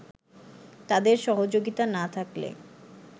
তাদের সহযোগিতা না থাকলে